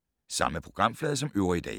Samme programflade som øvrige dage